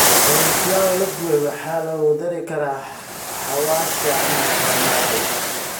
Cauliflower la dubay waxaa lagu dari karaa xawaash ama farmaajo.